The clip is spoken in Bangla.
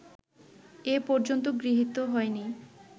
এ পর্যন্ত গৃহীত হয়নি